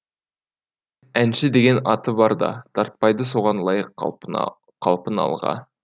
әнші деген аты бар да тартпайды соған лайық қалпын алға